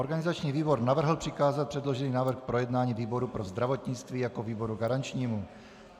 Organizační výbor navrhl přikázat předložený návrh k projednání výboru pro zdravotnictví jako výboru garančnímu.